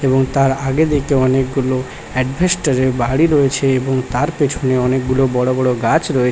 এবং তার আগে দেখতে অনেকগুলো অ্যাডভেস্টর এর বাড়ি রয়েছে এবং তার পেছনে অনেকগুলো বড় বড় গাছ রয়ে--